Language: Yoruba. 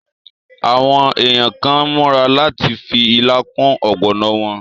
Àwọn èèyàn kàn n múra láti fi ilá kún ọ̀gbọ̀nà wọn